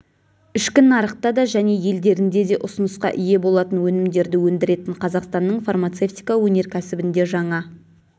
ішкі нарықта да және елдерінде де ұсынысқа ие болатын өнімдерді өндіретін қазақстанның фармацевтика өнеркәсібінде жаңа